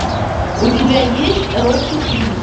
у тебя есть рокки три